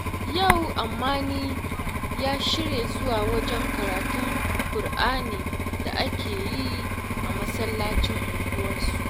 Yau Ammani ya shirya zuwa wajen karatun Kur'anin da aka yi a masallacin unguwarsu